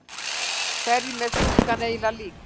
Hverjum er stúlkan eiginlega lík?